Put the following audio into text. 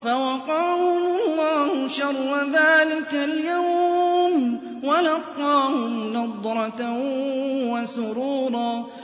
فَوَقَاهُمُ اللَّهُ شَرَّ ذَٰلِكَ الْيَوْمِ وَلَقَّاهُمْ نَضْرَةً وَسُرُورًا